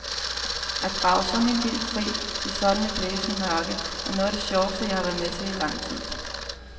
At grave sådan en bil fri i sådan et blæsende mørke, er noget af det sjoveste jeg har været med til i lang tid.